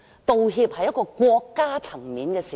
道歉可以是國家層面的事。